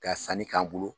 Ka sanni k'an bolo